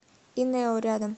инео рядом